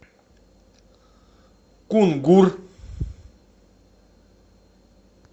кунгур